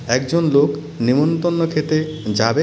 একজন লোক নেমন্তন্ন খেতে যাবে.